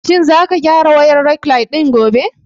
Shin za ka gyara wayar rekline ɗin gobe?